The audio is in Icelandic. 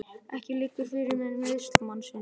Ekki liggur fyrir með meiðsl mannsins